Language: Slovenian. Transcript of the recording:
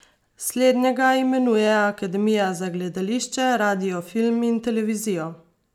Slednjega imenuje Akademija za gledališče, radio, film in televizijo.